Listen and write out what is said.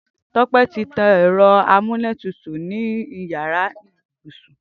Tope ti tàn ẹrọ àmúlétútú ninú iyàrá ibúsún